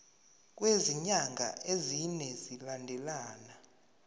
kwezinyanga ezine zilandelana